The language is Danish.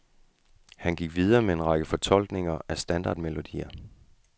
Han gik videre med en række fortolkninger af standardmelodier.